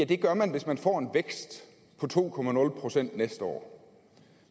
det gør man hvis man får en vækst på to procent næste år